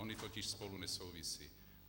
Ony totiž spolu nesouvisí.